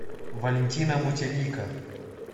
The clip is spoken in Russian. валентина мутелика